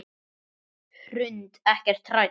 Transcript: Hrund: Ekkert hrædd?